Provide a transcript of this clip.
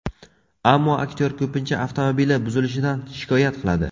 Ammo aktyor ko‘pincha avtomobili buzilishidan shikoyat qiladi.